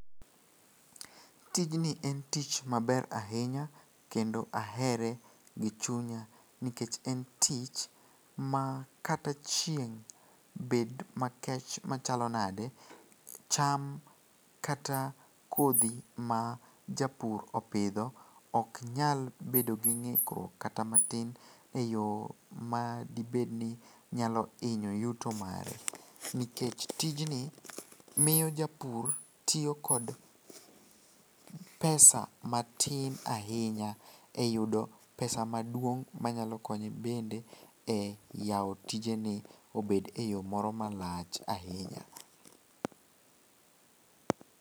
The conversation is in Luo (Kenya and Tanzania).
Tijni en tich maber ahinya kendo ahere gi chunya nikech en tich ma kata chieng' bed makech machalo nade, cham kata kodhi ma japur opidho oknyal bedo gi ng'ikruok kata matin e yo ma dibedni nyalo hinyo yuto mare nikech tijni miyo japur tiyo kod pesa matin ahinya e yudo pesa maduong' manyalo konye bende e yawo tijene obed e yo moro malach ahinya.